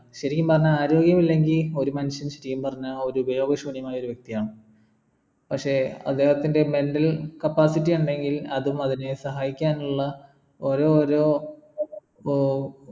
ശരിക്കും പറഞ്ഞാൽ ആരോഗ്യം ഇല്ലെങ്കിൽ ഒരു മനുഷ്യൻ ശരിക്കും പറഞ്ഞാ ഒരു ഉപയോഗശ്യൂന്യമായ ഒരു വ്യക്തിയാണ് പക്ഷെ അദ്ദേഹത്തിൻ്റെ mental capacity യുണ്ടെങ്കിൽ അതും അവനെ സഹായിക്കാനുള്ള ഓരോരോ ഉം